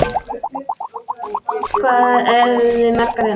Hvað eruð þið margir hérna?